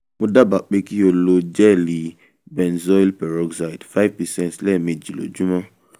mo dábàá pé kí o lo gẹẹli benzoyl peroxide five percent lójúmọ́